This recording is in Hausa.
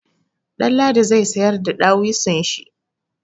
Ɗanladi zai sayar da dawisun shi.